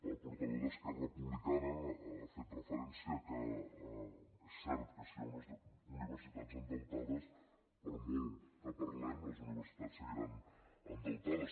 el portaveu d’esquerra republicana ha fet referencia que és cert que si hi ha unes universitats endeutades per molt que parlem les universitats seguiran endeutades